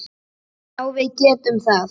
Já, við getum það.